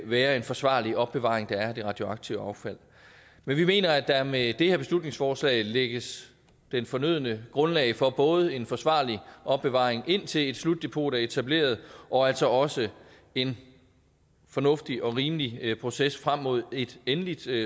være en forsvarlig opbevaring der er af det radioaktive affald men vi mener at der med det her beslutningsforslag lægges det fornødne grundlag for både en forsvarlig opbevaring indtil et slutdepot er etableret og altså også en fornuftig og rimelig proces frem mod et endeligt